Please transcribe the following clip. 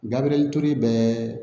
Gabiriyɛri ture bɛ